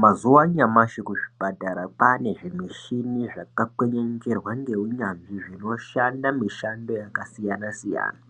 Mazuwa anyamashi kuzvipatara kwane zvimushini zvakakwenezverwa neunyanzvi zvinoshanda mushando yakasiyana siyana.